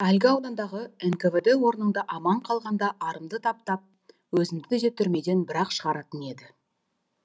әлгі аудандағы нквд орнында аман қалғанда арымды таптап өзімді де түрмеден бір ақ шығаратын еді